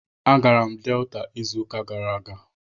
Agara m Delta izu uka gara aga